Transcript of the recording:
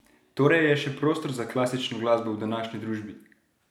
Torej je še prostor za klasično glasbo v današnji družbi?